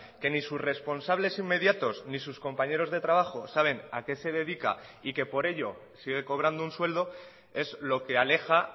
que ni sus responsables inmediatos ni sus compañeros de trabajo saben a qué se dedica y que por ello sigue cobrando un sueldo es lo que aleja